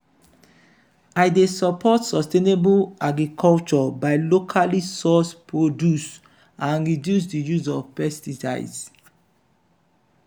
i dey support sustainable agriculture by locally sourced produce and reduce di use of pesticides.